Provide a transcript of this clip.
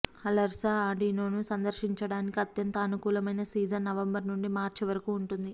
అలర్సా ఆండినోను సందర్శించడానికి అత్యంత అనుకూలమైన సీజన్ నవంబర్ నుండి మార్చ్ వరకు ఉంటుంది